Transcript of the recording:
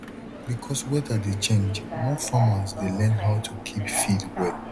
because weather dey change more farmers dey learn how to keep feed well